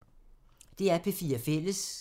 DR P4 Fælles